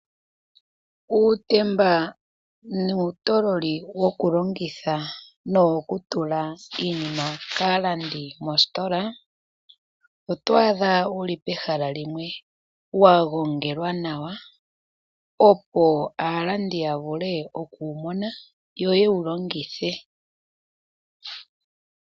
Uutemba nuutololi woku longitha no wo kutula iinima kaalandi moositola, otwaadha wu li pehala limwe wa gongelwa nawa opo aalandi ya vule okuwu mona yo yewu longithe.